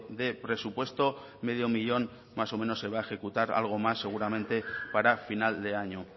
de presupuesto medio millón más o menos se va a ejecutar algo más seguramente para final de año